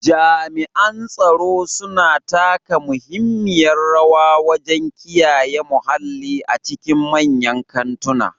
Jami'an tsaro suna taka muhimmiyar rawa wajen kiyaye muhalli a cikin manyan kantuna.